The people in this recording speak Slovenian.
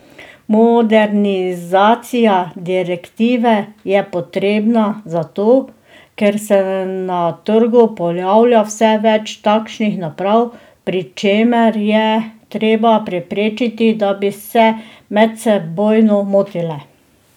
Modernizacija direktive je potrebna zato, ker se na trgu pojavlja vse več takšnih naprav, pri čemer je treba preprečiti, da bi se medsebojno motile.